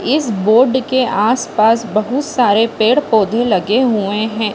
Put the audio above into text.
इस बोर्ड के आस-पास बहुत सारे पेड़-पौधे लगे हुए है।